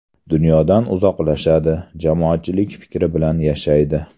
Dunyodan uzoqlashadi, jamoatchilik fikri bilan yashaydi.